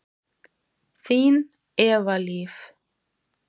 Þín, Eva Líf.